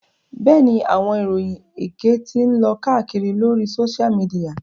Bẹ́ẹ̀ni, awọn iroyin ékè ti ǹ lo kàakiri lori Sósial mìdìya